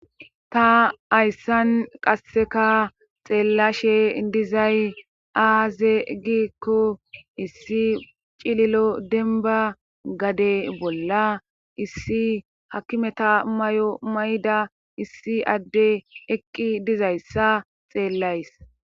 ta hayssan qasseka xeellashe dizay aaze giikko issi cililo denba gade bolla issi hakimeta mayo mayda issi adde eqqi dizayssa xeellays